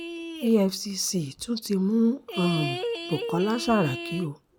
efcc ti tún mú um bukola saraki o